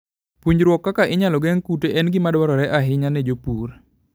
Puonjruok kaka inyalo geng' kute en gima dwarore ahinya ne jopur.